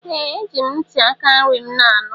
Ee! Eji m ntị aka nri m na-anụ.